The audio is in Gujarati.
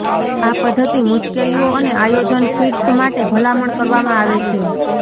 આ પદ્ધતિ મુશ્કેલીઓ અને આયોજન ફીડ્સ માટે ભલામણ કરવામાં આવે છે